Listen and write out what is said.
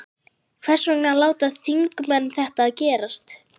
Hvers vegna láta þingmenn þetta gerast?